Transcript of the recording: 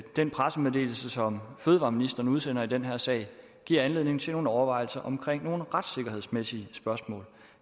den pressemeddelelse som fødevareministeren udsendte i den her sag giver anledning til nogle overvejelser omkring nogle retssikkerhedsmæssige spørgsmål